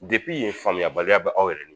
ye faamuyabaliya bɛ aw yɛrɛ